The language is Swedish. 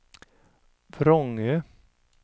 Vrångö